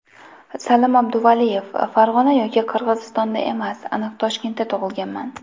Salim Abduvaliyev: Farg‘ona yoki Qirg‘izistonda emas, aniq Toshkentda tug‘ilganman !